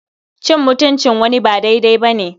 Cin mutuncin wani ba daidai ba ne.